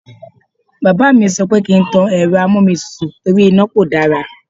Bàbá mi sọ pé kí n má tan Ẹ̀rọ amómitutù torí iná kò dára.